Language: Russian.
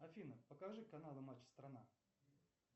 афина покажи каналы матч страна